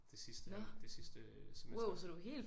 Det sidste det sidste semester